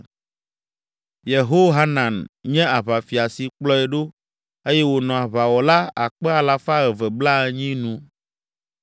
Yehohanan nye aʋafia si kplɔe ɖo eye wònɔ aʋawɔla akpe alafa eve blaenyi (280,000) nu.